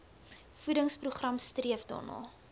voedingsprogram streef daarna